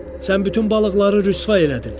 Sən bütün balıqları rüsvay elədin.